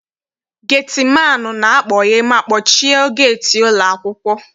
Geti maanụ na-akpọghe ma kpọchie geeti ụlọ akwụkwọ.